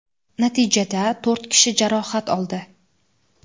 Natijada to‘rt kishi jarohat oldi.